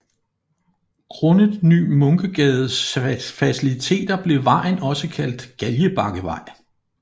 Grundet Ny Munkegades faciliteter blev vejen også kaldt Galgebakkevej